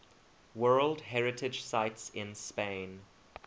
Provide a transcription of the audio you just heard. world heritage sites in spain